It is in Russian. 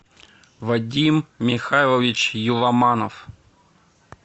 вадим михайлович еламанов